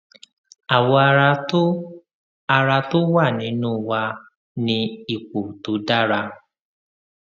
àwọ ara tó ara tó wà nínú wà ní ipò tó dára